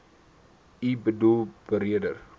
u boedel beredder